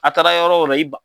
A taara yɔrɔw ra i ban